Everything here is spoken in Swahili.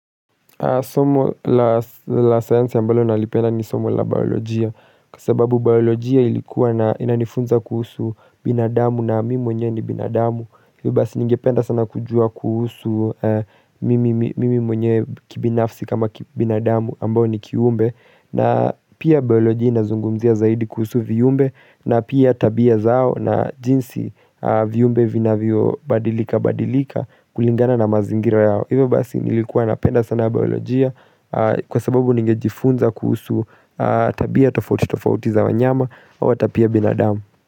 Somo la science ya ambalo nalipenda ni somo la biolojia, kwa sababu biolojia ilikuwa na inanifunza kuhusu binadamu na mimi mwenyewe ni binadamu, hivyo basi ningependa sana kujua kuhusu mimi mwenye kibinafsi kama binadamu ambao ni kiumbe, na pia bioloji inazungumzia zaidi kuhusu viumbe, na pia tabia zao na jinsi viumbe vinavyobadilika badilika kulingana na mazingira yao. Iwe basi nilikuwa napenda sana baolojia kwa sababu ningejifunza kuhusu tabia tofauti tofauti za wanyama au ata pia binadamu.